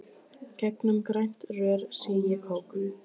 Gegnum grænt rör sýg ég kók.